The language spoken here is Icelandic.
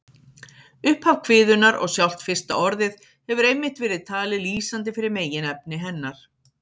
Upphaf kviðunnar og sjálft fyrsta orðið hefur einmitt verið talið lýsandi fyrir meginefni hennar.